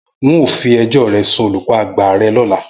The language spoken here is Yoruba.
N óò fi ejó re sun olùkó àgbà re lóla!